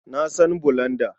Na san bulanda.